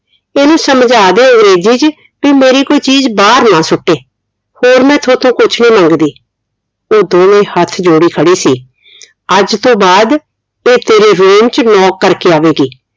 ਇਹਨੂੰ ਸਮਝਾ ਦੇ ਅੰਗਰੇਜ਼ੀ ਚ ਵੀ ਮੇਰੀ ਕੋਈ ਚੀਜ਼ ਬਾਹਰ ਨਾ ਸੁੱਟੇ ਹੋਰ ਮੈਂ ਤੁਹਾਥੋਂ ਕੁਛ ਨੀ ਮੰਗਦੀ ਉਹ ਦੋਹਵੇਂ ਹੱਥ ਜੋੜੇ ਖੜੀ ਸੀ ਅੱਜ ਤੋਂ ਬਾਅਦ ਇਹ ਤੇਰੇ room ਚ knock ਕਰਕੇ ਆਵੇਗੀ